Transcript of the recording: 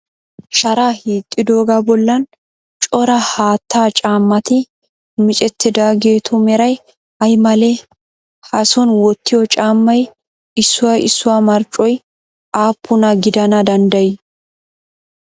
Sharaa hiixxidoogaa bollan cora haattaa caammati micettidaageetu meray ay malee? Ha son wottiyoo caammay issuwa issuwa marccoy appuna gidana danddayii?